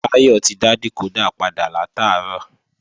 Táyọ̀ ti dá dìkódà padà látàárọ̀